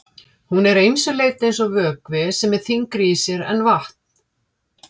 Hún er að ýmsu leyti eins og vökvi sem er þyngri í sér en vatn.